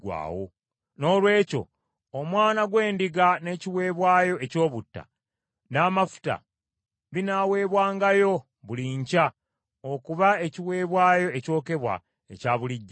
Noolwekyo omwana gw’endiga n’ekiweebwayo eky’obutta, n’amafuta binaaweebwangayo buli nkya okuba ekiweebwayo ekyokebwa ekya bulijjo.